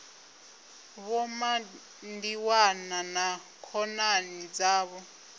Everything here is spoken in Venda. vho mandiwana na khonani dzavho